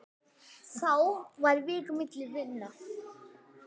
Þá var vík milli vina.